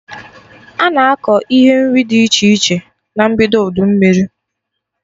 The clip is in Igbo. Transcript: Ana akọ ihe nri dị iche iche na mbido udu mmiri